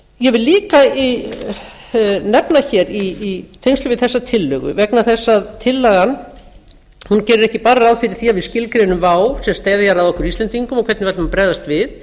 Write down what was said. ég vil líka nefna í tengslum við þessa tillögu vegna þess að tillagan gerir ekki bara ráð fyrir því að við skilgreinum vá sem steðjar að okkur íslendingum og